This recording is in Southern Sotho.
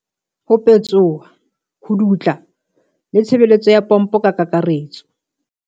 Ho petsoha, ho dutla le tshebetso ya pompo ka kakaretso.